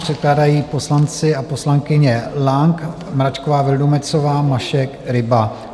Předkládají poslanci a poslankyně Lang, Mračková Vildumetzová, Mašek, Ryba.